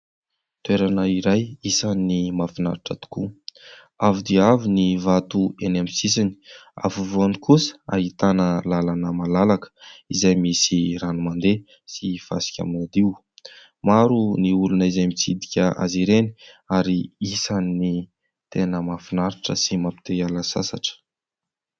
Toerana iray isan'ny mahafinaritra tokoa avo dia avo ny vato eny amin'ny sisiny, afovoany kosa ahitana lalana malalaka izay misy rano mandeha sy fasika madio, maro ny olona izay mitsidika azy ireny ary isany tena mahafinaritra sy mampite hiala sasatra.